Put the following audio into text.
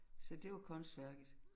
Så det var kunstværket